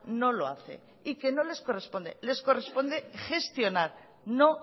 no lo hace y que no les corresponde les corresponde gestionar no